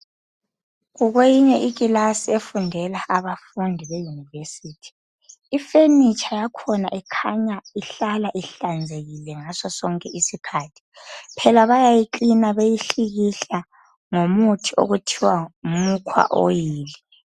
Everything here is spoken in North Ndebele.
Kukweyinye ikilasi efundela abafundi be yunivesithi. Ifenitsha yakhona ikhanya ihlala ihlanzekile ngasonke isikhathi phela bayayikilina beyihlikihla ngomuthi okuthiwa yi mukwa oyili.